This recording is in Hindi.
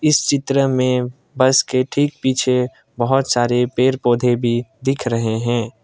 इस चित्र में बस के ठीक पीछे बहुत सारे पेड़ पौधे भी दिख रहे हैं।